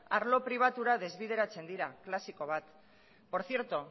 arlo pribatura desbideratzen dira klasiko bat por cierto